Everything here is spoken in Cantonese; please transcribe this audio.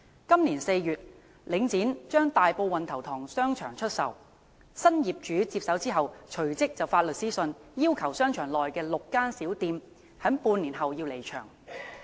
今年4月，領展將大埔運頭塘商場出售，新業主接手後隨即發出律師信，要求商場內6間小店在半年後離場。